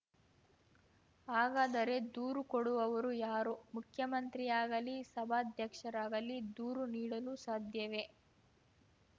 ಹಾಗಾದರೆ ದೂರು ಕೊಡುವವರು ಯಾರು ಮುಖ್ಯಮಂತ್ರಿಯಾಗಲಿ ಸಭಾಧ್ಯಕ್ಷರಾಗಲಿ ದೂರು ನೀಡಲು ಸಾಧ್ಯವೇ